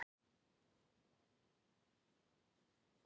Lyktin úr pípunni hans Dóra var góð en þeir voru alltaf að lofta út.